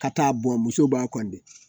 Ka taa bɔn muso b'a